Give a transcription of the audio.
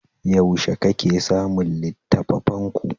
Yaushe kake samun littattafanku?